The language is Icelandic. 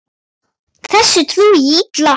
Þessu trúi ég illa.